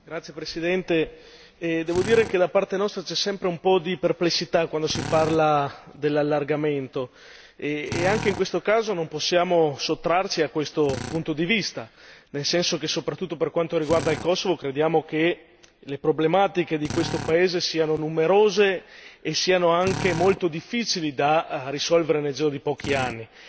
Signor Presidente, onorevoli colleghi, devo dire che da parte nostra c'è sempre un po' di perplessità quando si parla dell'allargamento e, anche in questo caso, non possiamo sottrarci a questo punto di vista, nel senso che, soprattutto per quanto riguarda il Kosovo, crediamo che le problematiche di questo paese siano numerose e siano anche molto difficili da risolvere nel giro di pochi anni.